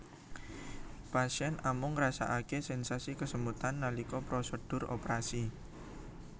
Pasien amung ngrasakaké sensasi kesemutan nalika prosedur operasi